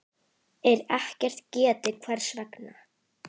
er ekkert getið hvers vegna.